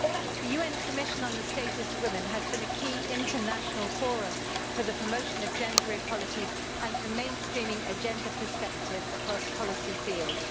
The UN Commission on the Status of Women has been a key international forum for the promotion of gender equality and for mainstreaming a gender perspective across policy fields.